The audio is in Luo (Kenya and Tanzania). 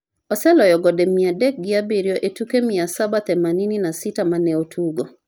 oseloyo gonde mia adek gi abiriyo e tuke mia saba themanini na sita mane otugo